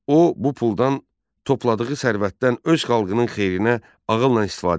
O bu puldan topladığı sərvətdən öz xalqının xeyrinə ağılla istifadə edirdi.